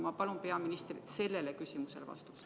Ma palun peaministrilt sellele küsimusele vastust.